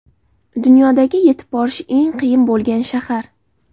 Dunyodagi yetib borish eng qiyin bo‘lgan shahar.